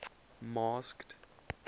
masked